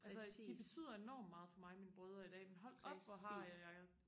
altså de betyder enormt meget for mig mine brødre i dag men hold op hvor har jeg